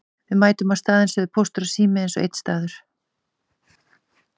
Við mætum á staðinn sögðu Póstur og Sími eins og einn maður.